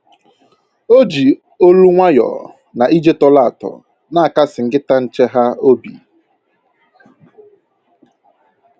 O ji olu nwayọọ na ije tọrọ atọ na-akasị nkịta nche ha obi